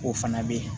O fana bɛ ye